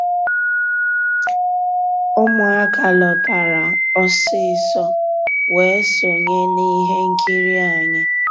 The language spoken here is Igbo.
Ụmụ́àká lọ́tárá ọsísọ weé sonyéé n'íhé nkírí ànyị́.